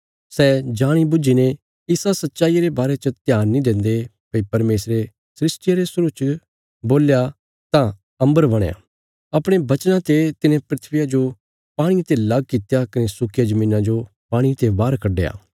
सै जाणी बुझीने इसा सच्चाईया रे बारे च ध्यान नीं देन्दे भई परमेशरे सृष्टिया रे शुरु च बोल्या तां अम्बरा बणया अपणे बचना ते तिने धरतिया जो पाणिये ते लग कित्या कने सुक्किया धरतिया जो पाणिये ते बाहर कड्डया